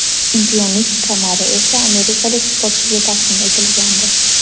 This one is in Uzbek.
Chempionlik kamari esa amerikalik sportchiga taqdim etilgandi.